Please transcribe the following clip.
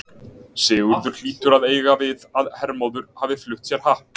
Sigurður hlýtur að eiga við að Hermóður hafi flutt sér happ.